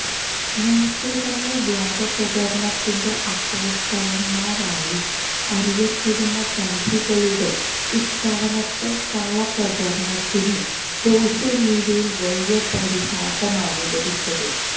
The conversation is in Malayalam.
നേരത്തെ തന്നെ വ്യാജപ്രചരണത്തിന്റെ അപ്പോസ്തലന്മാരായി അറിയപ്പെടുന്ന സംഘികളുടെ ഇത്തവണത്തെ കള്ളപ്രചരണത്തിന് സോഷ്യല് മീഡിയയില് വലിയ പരിഹാസമാണ് ലഭിച്ചത്